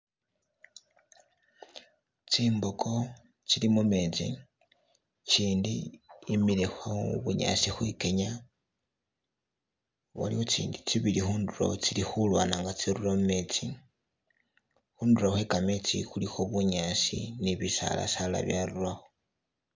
Tsimboko tsili mumetsi ikindi yimile khubunyasi khwikenya waliwo tsindi tsibili khundulo tsili khulwana nga tsirura mumetsi khundulo khwe kametsi khulikho bunyasi nibisala sala byarurakho.